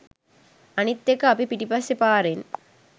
අනික් එක අපි පිටිපස්සේ පාරෙන්